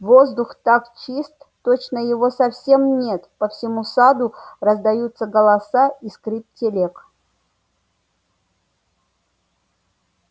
воздух так чист точно его совсем нет по всему саду раздаются голоса и скрип телег